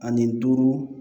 Ani duuru